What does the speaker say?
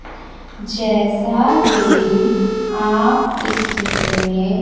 जैसा कि आप इस चित्र में--